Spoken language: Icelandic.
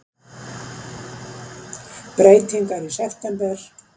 Breytingar í september